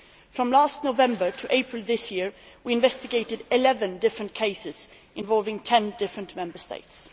From last November to April, we investigated 11 different cases involving 10 different Member States.